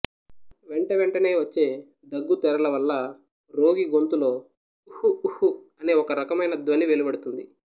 వెంట వెంటనే వచ్చే దగ్గు తెరల వల్ల రోగి గొంతులో ఉహ్ ఉహ్ అనే ఒక రకమైన ధ్వని వెలువడుతుంది